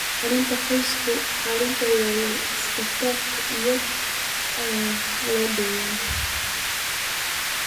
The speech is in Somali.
Xaaladaha qaarkood, xaaladdu way iska tagtaa iyada oo aan la daweyn.